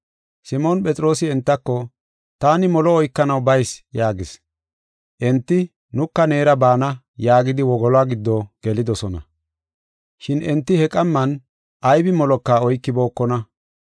Simoon Phexroosi entako, “Taani molo oykanaw bayis” yaagis. Enti, “Nuka neera baana” yaagidi, wogoluwa giddo gelidosona. Shin enti he qamman aybi moloka oykibookona.